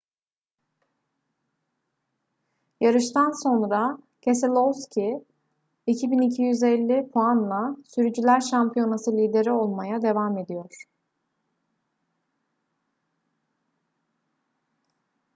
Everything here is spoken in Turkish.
yarıştan sonra keselowski 2.250 puanla sürücüler şampiyonası lideri olmaya devam ediyor